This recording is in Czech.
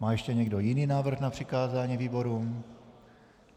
Má ještě někdo jiný návrh na přikázání výborům?